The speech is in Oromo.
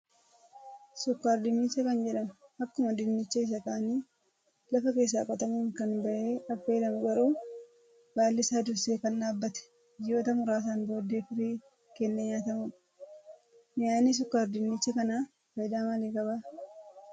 Sukkaar-dinnicha kan jedhamu akkuma dinnicha isa kaanii lafa keessaa qotamuun kan bahee affeelamu garuu, baalli isaa dursee kan dhaabbatee ji'oota muraasaan booddee firii kennee nyaatamudha. Mi'aayinni sukkaar-dinnicha kanaa fayidaa maalii qabaa?